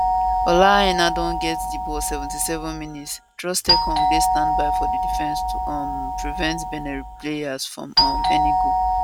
ola aina don get di ball 77mins troostekong dey standby for di defence to um prevent benin player from um any goal